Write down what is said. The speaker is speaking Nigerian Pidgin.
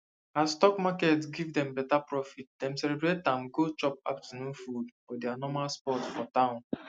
as stock market give dem beta profit dem celebrate am go chop afternoon food for their normal spot for town